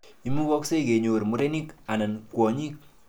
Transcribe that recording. Imukakse konyor murenik anan kwonyik.